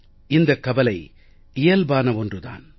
இந்தக் கவலை இயல்பான ஒன்று தான்